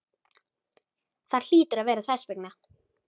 Það hlýtur að vera þess vegna.